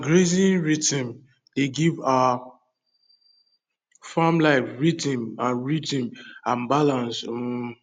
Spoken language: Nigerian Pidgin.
our grazing rhythm dey give our farm life rhythm and rhythm and balance um